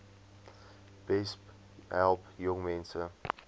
besp help jongmense